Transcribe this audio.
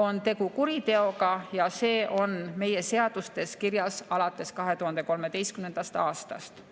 on tegu kuriteoga ja see on meie seadustes kirjas alates 2013. aastast.